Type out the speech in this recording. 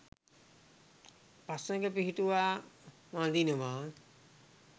පසඟ පිහි‍ටුවා වඳිනවා